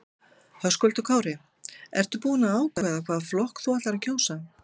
Höskuldur Kári: Ertu búin að ákveða hvaða flokk þú ætlar að kjósa?